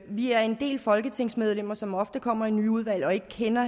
vi er en del folketingsmedlemmer som ofte kommer i nye udvalg og ikke kender